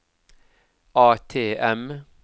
ATM